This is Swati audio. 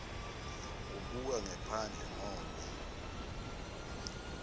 ubuka ngephandle ngobe